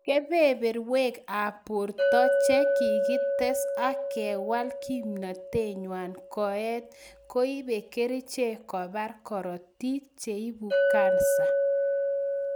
Kebeberwek ab borto che kiketes ak kewal kimwnotenwany koet koibe kerichek kobar korotik cheibu kansa